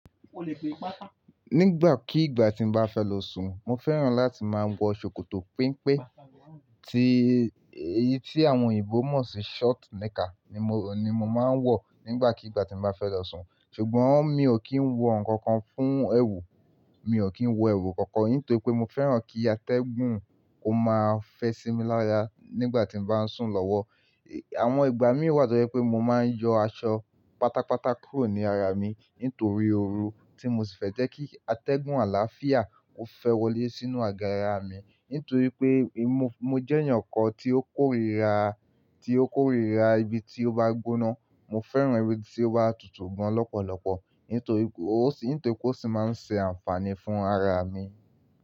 Nígbàkigbà tí mo bá fẹ́ lọ sùn, mo fẹ́ràn láti máa wọ ṣòkòtò penpé tí èyí tí àwọn òyìnbó mọ̀ sí short knicker ni mo máa ń wọ̀ nígbàkigbà tí mo bá fẹ́ lọ sùn. Ṣùgbọ́n mi ò kí ń wọ ǹkan kan fún ẹrù, mi ò kí ń wọ ẹwù kankan nítorí pé mo fẹ́ràn kí atẹ́gùn ó máa fẹ́ sí mi lára nígbà tí mo bá ń sùn lọ́wọ́. Àwọn ìgbà mí wà tó jẹ́ pé mo máa ń yọ aṣọ pátápátá kúrò ní ara mi nítorí ooru tí mo sì fẹ́ jẹ́ kí atẹ́gùn àlàáfíà ó fẹ́ wọlé sínú àgo ara mi. Nítorí pé mo jẹ́ èèyàn kan tí ó kórira, tí ó kórira ibi tí ó bá gbóná. Mo fẹ́ràn ibi tí ó bá tutù gan lọ́pọ̀lọpọ̀ nítorí ó sì máa ń ṣe àǹfààní fún ara mi.